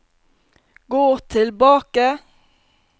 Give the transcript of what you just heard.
gå tilbake